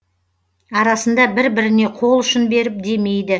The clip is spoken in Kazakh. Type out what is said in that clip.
арасында бір біріне қол ұшын беріп демейді